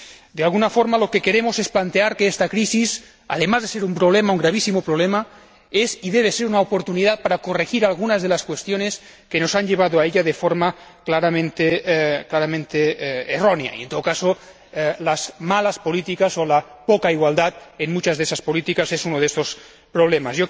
De alguna forma, lo que queremos es plantear que esta crisis, además de representar un gravísimo problema, es y debe ser una oportunidad para corregir algunas de las cuestiones que nos han llevado a ella, de forma claramente errónea y, en todo caso, las malas políticas o la poca igualdad en muchas de esas políticas es uno de estos problemas.